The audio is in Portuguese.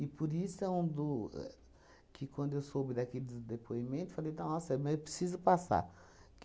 por isso é um do é... que quando eu soube daqui dos depoimento, falei, nossa, mas eu preciso passar.